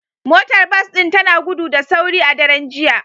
Motar bas din tana gudu da sauri a daren jiya